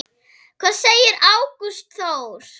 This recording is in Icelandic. Hvað segir Ágúst Þór?